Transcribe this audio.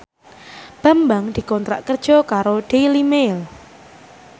Bambang dikontrak kerja karo Daily Mail